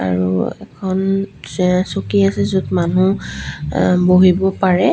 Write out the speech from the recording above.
আৰু এখন চিয়ে চকী আছে য'ত মানুহ অ বহিব পাৰে।